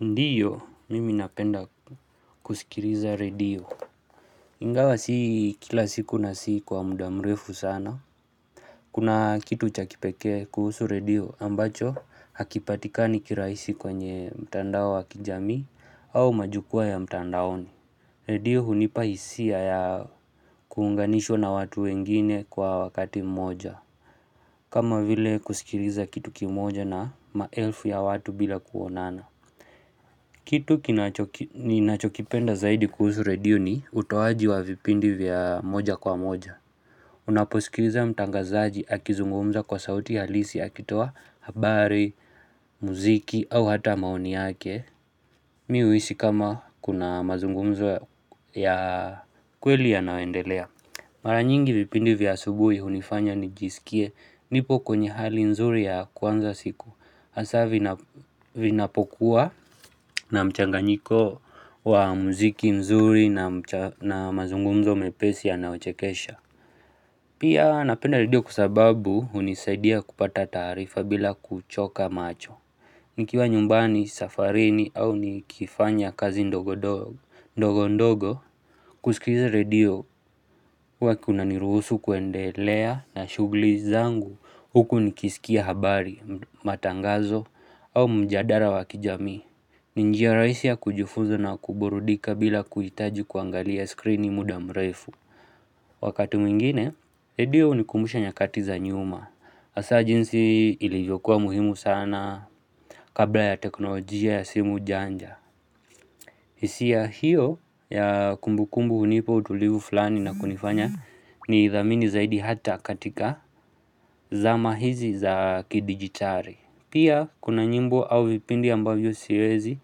Ndiyo, mimi napenda kusikiliza redio. Ingawa si kila siku na si kwa muda mrefu sana. Kuna kitu cha kipekee kuhusu redio ambacho hakipatikani kirahisi kwenye mtandao wa kijamii au majukwaa ya mtandaoni. Redio hunipa hisia ya kuunganishwa na watu wengine kwa wakati mmoja. Kama vile kusikiriza kitu kimoja na maelfu ya watu bila kuonana. Kitu ninachokipenda zaidi kuhusu redio ni utoaji wa vipindi vya moja kwa moja. Unaposikiliza mtangazaji akizungumza kwa sauti halisi akitoa habari, muziki au hata maoni yake. Mi huisi kama kuna mazungumzo ya kweli yanayoendelea. Mara nyingi vipindi vya asubuhi hunifanya nijisikie nipo kwenye hali nzuri ya kuanza siku. Hasa vinapokuwa na mchanganyiko wa muziki nzuri na mazungumzo mepesi yanayochekesha Pia napenda redio kwa sababu hunisaidia kupata taarifa bila kuchoka macho. Nikiwa nyumbani, safarini au nikifanya kazi ndogo dogo, ndogo ndogo, kusikiza redio huwa kunaniruhusu kuendelea na shughuli zangu huku nikisikia habari, matangazo au mjadala wa kijamii. Ni njia rahisi ya kujifunza na kuburudika bila kuhitaji kuangalia skrini muda mrefu. Wakati mwingine, redio hunikumbusha nyakati za nyuma. Hasa jinsi ilivyokuwa muhimu sana kabla ya teknolojia ya simu janja. Hisia hiyo ya kumbu kumbu hunipa utulivu fulani na kunifanya niidhamini zaidi hata katika zama hizi za kidijitali. Pia kuna nyimbo au vipindi ambavyo siwezi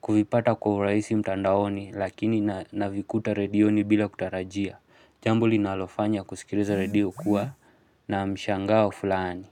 kuipata kwa urahisi mtandaoni lakini navikuta redioni bila kutarajia. Jambo linalofanya kusikiliza redio kuwa na mshangao fulani.